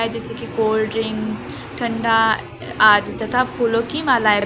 जैसे कि cold drink ठंडा आदि तथा फूलों की मालाएं--